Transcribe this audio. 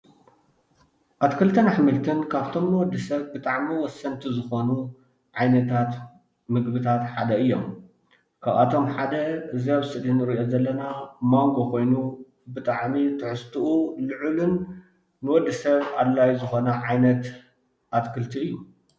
ኣትክልትን ኣሕምልት ካብቶም ንወዲ ሰብ ብጣዕሚ ወሰንቲ ዝኾኑ ዓይነታት ምግብታት ሓደ እዮም፡፡ ካብአቶም ሓደ እዚ ኣብ ስእሊ እንሪኦ ዘለና ማንጎ ኮይኑ ብጣዕሚ ትሕዝትኡ ልዑልን ንወዲ ሰብ ኣድላይ ዝኮነ ዓይነት ኣትክልቲ እዩ፡፡